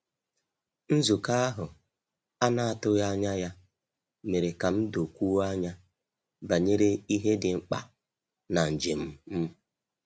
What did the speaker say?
Nzukọ ahụ a na-atụghị anya ya mere ka m dokwuo anya banyere ihe dị mkpa na njem m.